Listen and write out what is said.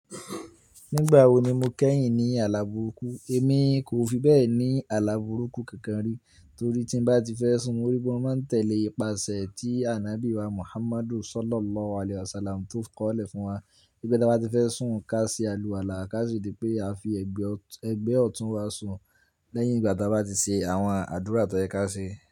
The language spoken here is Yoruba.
Nígbà wo ni mo kẹ́yìn ní àlàbùkú? Èmi kò fi bẹ́ẹ̀ ní àlàbùkú kankan rí, torí tí bá ti fẹ́ sùn, mo rí pé ó máa ń tẹ̀lé ìpasẹ̀ tí Ànábí wa Muhammad Sallallahu Alaihi Wasallam tó kọ́lẹ̀ fún wa. Wí pé dá bá ti fẹ́ sùn, ká ṣe àlùwálà, ká sì ri pé a fi ẹgbẹ́ ọ̀tún ẹgbẹ́ ọ̀tún wa sùn lẹ́yìn ìgbà tí a bá ti ṣe àwọn àdúrà tó yẹ ká ṣe.